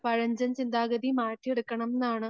പഴഞ്ചൻ ചിന്താഗതി മാറ്റിയെടുക്കണമെന്നാണ്